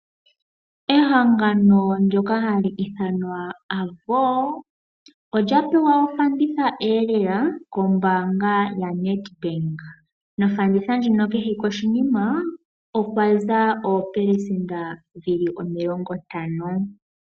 Ehangano ndoka hali ithanwa Avo olya pewa ofanditha lela kombaanga yo Nedbank , Nofanditha ndjino kehe koshinima okwaza oopelesenda dhili omilongo ntano.